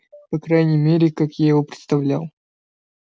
по крайней мере так я его представлял